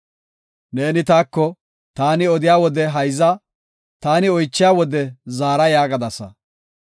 “Neeni taako, ‘Taani odiya wode hayza; taani oychiya wode zaara’ yaagadasa.